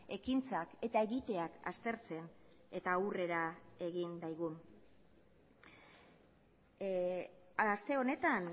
ekintzak eta egiteak aztertzen eta aurrera egin daigun aste honetan